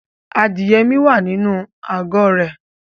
Adìye mi wà nínú àgó rẹ̀